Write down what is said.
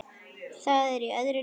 Það er í öðru lífi.